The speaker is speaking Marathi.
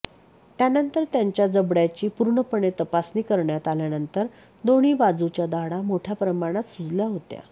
त्यानंतर त्यांच्या जबडयाची पूर्णपणे तपासणी करण्यात आल्यानंतर दोन्ही बाजूच्या दाढ़ा मोठया प्रमाणात सुजल्या होत्या